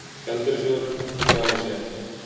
Gjaldeyrissjóðurinn tjáir sig ekki